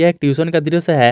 एक ट्यूशन का दृश्य है।